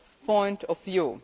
point of view.